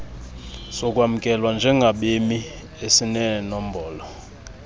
sokwamkelwa njengabemi esinenombolo